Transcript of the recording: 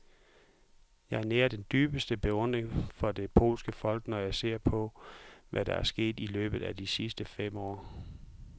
Jeg nærer den dybeste beundring for det polske folk, når jeg ser på, hvad der er sket i løbet af de sidste fem år.